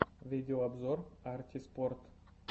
видеообзор арти спорт